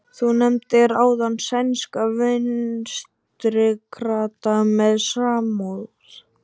Þú nefndir áðan sænska vinstrikrata með samúð.